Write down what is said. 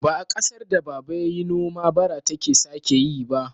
Ba a ƙasar da baba yayi noma bara take sake yi ba.